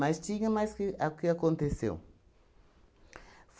Mas tinha mais que a o que aconteceu.